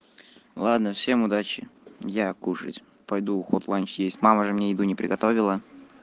ладно всем удачи я кушать пойду хот ланч есть мама же мне еду не приготовила